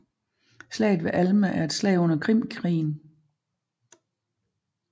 Slaget ved Alma er et slag under Krimkrigen